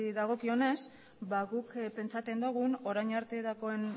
dagokionez ba guk pentsatzen dugu orain arte